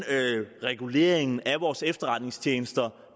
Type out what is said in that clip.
reguleringen af vores efterretningstjenester